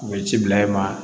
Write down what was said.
U bɛ ci bila e ma